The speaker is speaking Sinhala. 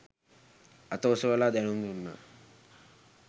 අත ඔසවලා දැනුම් දුන්නා